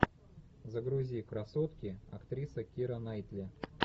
загрузи красотки актриса кира найтли